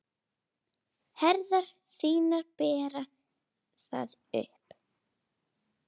Herðar þínar bera það uppi.